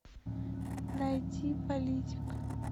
найти политик